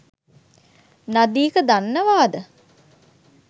නදීක දන්නවාද